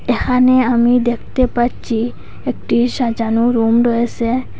এখানে আমি দেখতে পাচ্চি একটি সাজানো রুম রয়েসে।